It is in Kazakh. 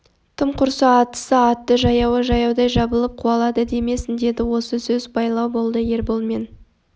тым құрса аттысы атты жаяуы жаяудай жабылып қуалады демесін деді осы сөз байлау болды ербол мен